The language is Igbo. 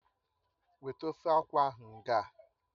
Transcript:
Weta ofe akwụ ahụ ngaa!